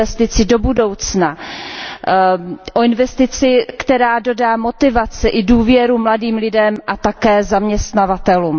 Investici do budoucna, o investici, která dodá motivaci i důvěru mladým lidem a také zaměstnavatelům.